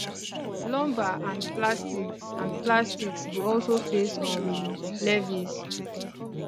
lumber and plastics and plastics go also face um levies